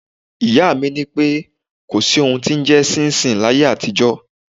Ìyá mi ní kò sí ohun tí ó ń jẹ ṣinṣin láyé àtijó.